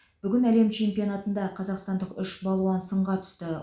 бүгін әлем чемпионатында қазақстандық үш балуан сынға түсті